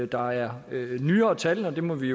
der er nyere tal og det må vi